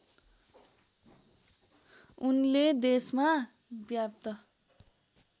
उनले देशमा व्याप्त